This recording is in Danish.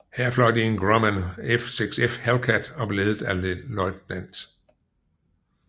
Her fløj de i Grumman F6F Hellcat og blev ledet af Lt